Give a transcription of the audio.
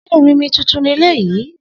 Se erinmi tuntun leleyi?